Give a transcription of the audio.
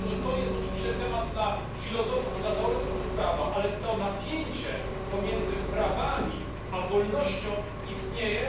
Jest to oczywiście temat dla filozofów i teoretyków prawa, ale to napięcie pomiędzy prawami a wolnością istnieje.